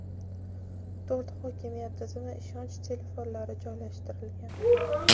to‘rt hokimiyat tizimi ishonch telefonlari joylashtirilgan.